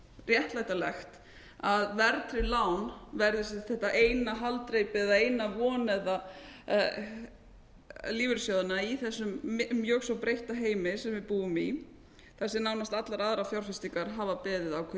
réttlætanlegt að verðtryggð lán verði þetta eina haldreipi eða eina von lífeyrissjóðanna í þessum mjög svo breytta heimi sem við búum í þar sem nánast allar aðrar fjárfestingar hafa beðið ákveðið skipbrot